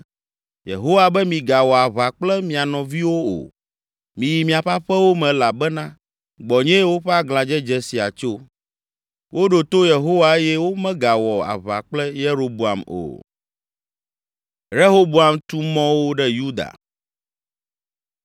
‘Yehowa be migawɔ aʋa kple mia nɔviwo o. Miyi miaƒe aƒewo me elabena gbɔnyee woƒe aglãdzedze sia tso.’ ” Woɖo to Yehowa eye womegawɔ aʋa kple Yeroboam o.